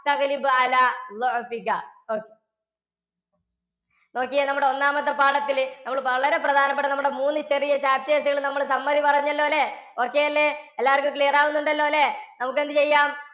okay നോക്കിയേ നമ്മുടെ ഒന്നാമത്തെ പാഠത്തില് നമ്മൾ വളരെ പ്രധാനപ്പെട്ട നമ്മുടെ മൂന്ന് ചെറിയ chapters നമ്മൾ summary പറഞ്ഞുവല്ലോ അല്ലേ. Okay അല്ലേ? എല്ലാവർക്കും clear ആവുന്നുണ്ടല്ലോ അല്ലേ. നമുക്ക് എന്ത് ചെയ്യാം?